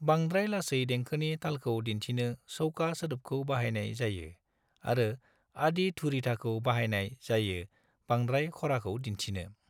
बांद्राय लासै देंखोनि तालखौ दिन्थिनो चौका सोदोबखौ बाहायनाय जायो आरो आदि-धुरिथाखौ बाहायनाय जायो बांद्राय खराखौ दिन्थिनो।